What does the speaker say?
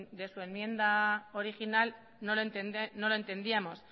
de su enmienda original no lo entendíamos